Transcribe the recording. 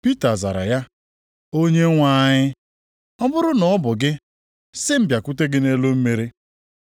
Pita zara ya, “Onyenwe anyị, ọ bụrụ na ọ bụ gị, sị m bịakwute gị nʼelu mmiri.”